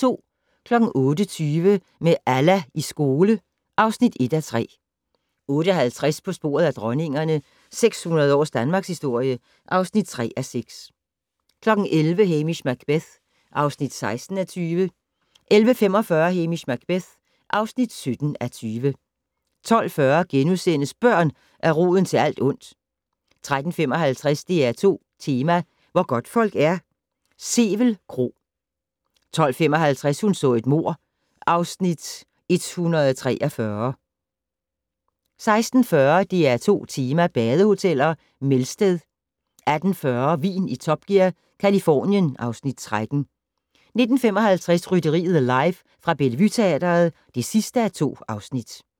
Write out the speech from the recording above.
08:20: Med Allah i skole (1:3) 08:50: På sporet af dronningerne - 600 års danmarkshistorie (3:6) 11:00: Hamish Macbeth (16:20) 11:45: Hamish Macbeth (17:20) 12:40: Børn er roden til alt ondt * 13:55: DR2 Tema: Hvor godtfolk er - Sevel Kro 15:55: Hun så et mord (Afs. 143) 16:40: DR2 Tema: badehoteller - Melsted 18:40: Vin i Top Gear - Californien (Afs. 13) 19:55: Rytteriet live fra Bellevue Teatret (2:2)